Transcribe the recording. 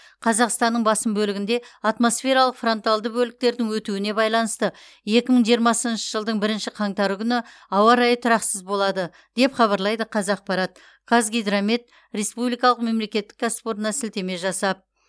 қазақстанның басым бөлігінде атмосфералық фронталды бөліктердің өтуіне байланысты екі мың жиырмасыншы жылдың бірінші қаңтары күні ауа райы тұрақсыз болады деп хабарлайды қазақпарат қазгидромет республикалық мемлекеттік кәсіпорнына сілтеме жасап